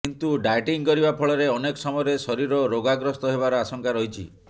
କିନ୍ତୁ ଡାଏଟିଂ କରିବା ଫଳରେ ଅନେକ ସମୟରେ ଶରୀର ରୋଗଗ୍ରସ୍ତ ହେବାର ଆଶଙ୍କା ରହିଛି